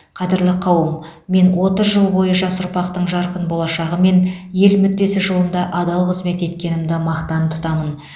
қадірлі қауым мен отыз жыл бойы жас ұрпақтың жарқын болашағы мен ел мүддесі жолында адал қызмет еткенімді мақтан тұтамын